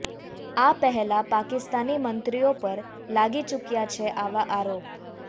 આ પહેલા પાકિસ્તાની મંત્રીઓ પર લાગી ચૂક્યા છે આવા આરોપ